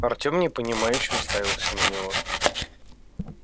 артём непонимающе уставился на него